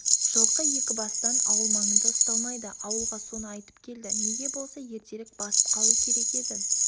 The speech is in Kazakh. жылқы екібастан ауыл маңында ұсталмайды ауылға соны айтып келді неге болса ертерек басып қалу керек еді